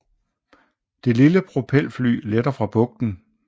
Det lille propelfly letter fra bugten